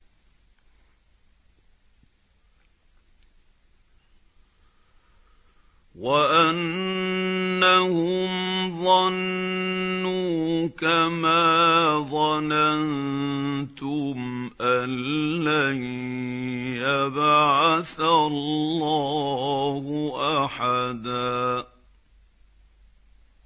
وَأَنَّهُمْ ظَنُّوا كَمَا ظَنَنتُمْ أَن لَّن يَبْعَثَ اللَّهُ أَحَدًا